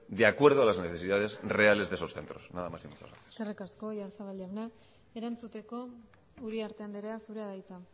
de acuerdo a las necesidades reales de esos centros nada más y muchas gracias eskerrik asko oyarzabal jauna erantzuteko uriarte andrea zurea da hitza